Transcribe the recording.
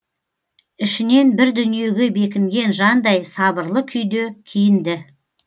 ішінен бір дүниеге бекінген жандай сабырлы күйде киінді